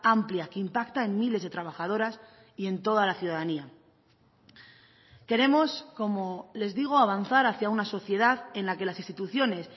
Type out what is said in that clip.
amplia que impacta en miles de trabajadoras y en toda la ciudadanía queremos como les digo avanzar hacia una sociedad en la que las instituciones